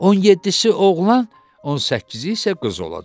17-si oğlan, 18-i isə qız olacaq.